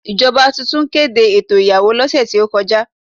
Ìjọba tuntun kéde ètò ìyàwó lọ́sẹ̀ tí ó kọjá.